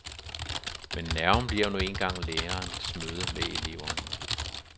Men nerven bliver nu engang lærerens møde med eleven.